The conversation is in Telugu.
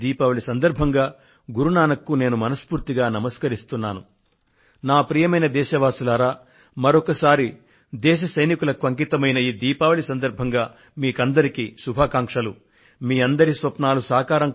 రానున్న ప్రకాశోత్సవ్ సందర్భంగా గురు నానక్ దేవ్ కు నేను నా గుండె లోతులలో నుండి గౌరవపూర్వక శ్రద్ధాంజలి అర్పిస్తున్నాను